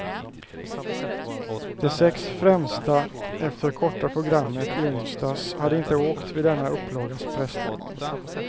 De sex främsta efter korta programmet i onsdags hade inte åkt vid denna upplagas pressläggning.